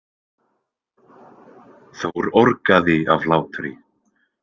Þór orgaði af hlátri.